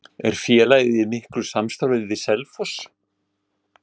Er félagið í miklu samstarfi við Selfoss?